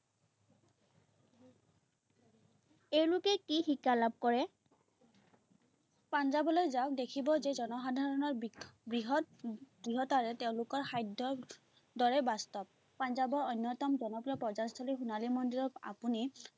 এওঁলোকে কি শিক্ষা লাভ কৰে? পাঞ্জাৱলৈ যাওঁ দেখিব যে জনসাধাৰণৰ বৃহত্ দৃঢ়তাৰে তেওঁলোকৰ সাধ্যৰ দৰে বাস্তৱ। পাঞ্জাৱৰ অন্যতম জনপ্ৰিয় পৰ্য্যটনস্থলী সোণালী মন্দিৰক আপুনি